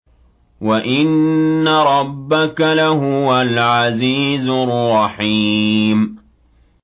وَإِنَّ رَبَّكَ لَهُوَ الْعَزِيزُ الرَّحِيمُ